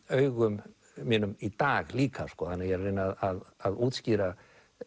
augum mínum í dag líka ég er að reyna að að útskýra